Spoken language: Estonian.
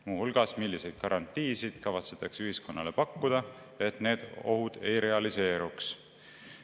Näiteks, milliseid garantiisid kavatsetakse ühiskonnale pakkuda, et need ohud ei realiseeruks.